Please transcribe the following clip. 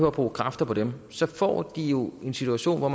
at bruge kræfter på dem så får de jo en situation hvor